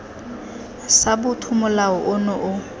sa botho molao ono o